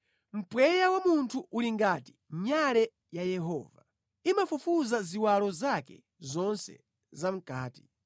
Mpweya wa munthu uli ngati nyale ya Yehova; imafufuza ziwalo zake zonse zamʼkati.